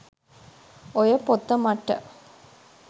ඔය පොත මට